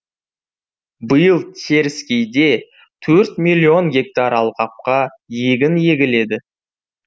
биыл теріскейде төрт миллион гектар алқапқа егін егіледі